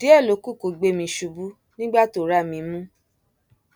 díẹ ló kù kó gbé mi ṣubú nígbà tó rá mi mú